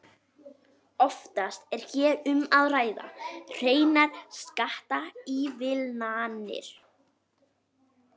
Oftast er hér um að ræða hreinar skattaívilnanir.